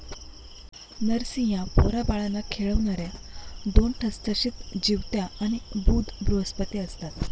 नरसिंहा पोराबाळांना खेळवणाऱ्या दोन ठसठसीत जिवत्याआणि बुध बृहस्पती असतात